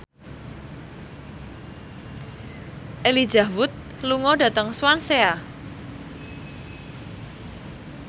Elijah Wood lunga dhateng Swansea